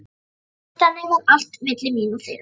Þannig var allt milli mín og þeirra.